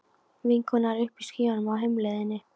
Vinkonan er uppi í skýjunum á heimleiðinni.